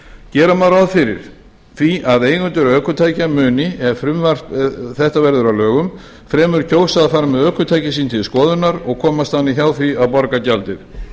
gera má ráð fyrir því að eigendur ökutækja muni ef frumvarp þetta verður að lögum fremur kjósa að fara með ökutæki sín til skoðunar og komast þannig hjá því að borga gjaldið